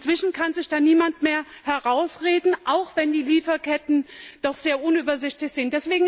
Inzwischen kann sich da niemand mehr herausreden, auch wenn die Lieferketten doch sehr unübersichtlich sind.